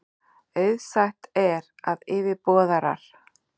Auðsætt er, að yfirboðarar